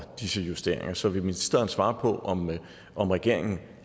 disse justeringer så vil ministeren svare på om om regeringen